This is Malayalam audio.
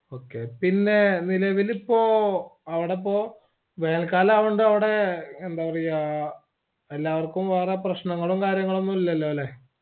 okay പിന്നേ നിലവിലിപ്പോ അവിടെയിപ്പോ വേനൽകാലായൊണ്ട് എന്താപറയാ എല്ലാവർക്കും മറ്റു പ്രശ്‌നങ്ങളും കാര്യങ്ങളും ഒന്നുമില്ലല്ലോല്ലേ